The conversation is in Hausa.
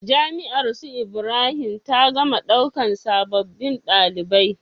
Jami'ar su ibrahim ta gama ɗaukan sabobin ɗalibai